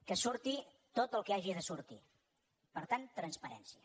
que surti tot el que hagi de sortir per tant transparència